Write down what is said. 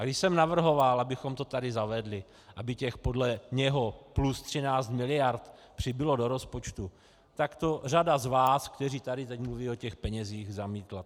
A když jsem navrhoval, abychom to tady zavedli, aby těch podle něho plus 13 miliard přibylo do rozpočtu, tak to řada z vás, kteří tady teď mluví o těch penězích, zamítla.